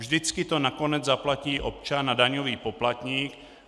Vždycky to nakonec zaplatí občan a daňový poplatník.